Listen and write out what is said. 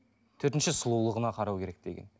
төртінші сұлулығына қарау керек деген